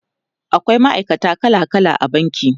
akwai ma'aikata kala kala a banki